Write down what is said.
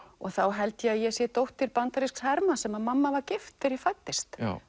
þá held ég að ég sé dóttir bandarísks hermanns sem mamma var gift þegar ég fæddist